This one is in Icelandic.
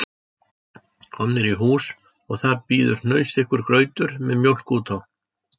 Komnir í hús og þar bíður hnausþykkur grautur með mjólk út á